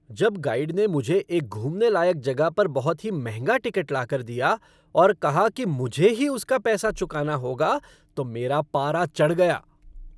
जब गाइड ने मुझे एक घूमने लायक जगह पर बहुत ही महंगा टिकट लाकर दिया और कहा कि मुझे ही उसका पैसा चुकाना होगा तो मेरा पारा चढ़ गया।